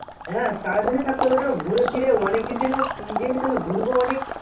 হ্যাঁ সারা দিনই থাকতে হবে তাহলে ঘুরেফিরে অনেক দিন থেকে ই ঘুরে আসতাম